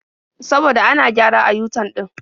Saboda ana gyara a yu-tan ɗin.